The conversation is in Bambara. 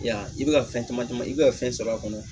Yan i bɛ ka fɛn caman i bɛ ka fɛn sɔrɔ a kɔnɔ